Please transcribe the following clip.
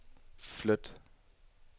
flyt